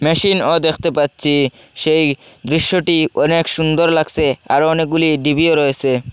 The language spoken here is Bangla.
মেশিন ও দেখতে পাচ্ছি সেই দৃশ্যটি অনেক সুন্দর লাগসে আরও অনেকগুলি ডিভিও রয়েসে।